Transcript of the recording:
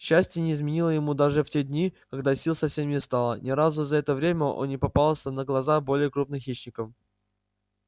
счастье не изменило ему даже в те дни когда сил совсем не стало ни разу за это время он не попался на глаза более крупным хищникам